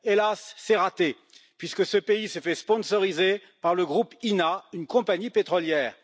Hélas, c'est raté, puisque ce pays s'est fait sponsoriser par le groupe INA, une compagnie pétrolière.